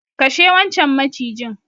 Kashe wancan macijin.